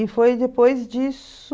E foi depois disso...